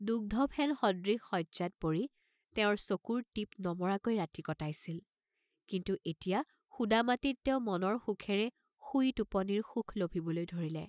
দুগ্ধফেন সদৃশ শয্যাত পৰি তেওঁৰ চকুৰ টিপ নমৰাকৈ ৰাতি কটাইছিল, কিন্তু এতিয়া সুদা মাটিত তেওঁ মনৰ সুখেৰে শুই টোপনিৰ সুখ লভিবলৈ ধৰিলে।